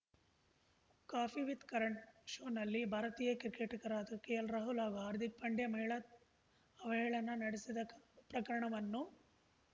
coffee with Karan ಶೋನಲ್ಲಿ ಭಾರತೀಯ ಕ್ರಿಕೆಟಿಗರಾದ ಕೆಎಲ್‌ರಾಹುಲ್‌ ಹಾಗೂ ಹಾರ್ದಿಕ್‌ ಪಾಂಡ್ಯ ಮಹಿಳಾ ಅವಹೇಳನ ನಡೆಸಿದ ಪ್ರಕರಣವನ್ನು